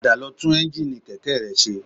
Padà lọ tún ẹ́ńjíìnì kẹ̀kẹ́ rẹ ṣe